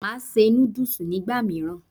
Màá se núdùs nígbà mìíràn